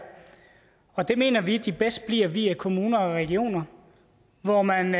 og det mener vi at de bedst bliver via kommuner og regioner hvor man